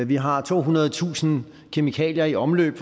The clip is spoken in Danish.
vi har tohundredetusind kemikalier i omløb